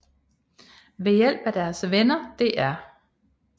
Ved hjælp af deres venner Dr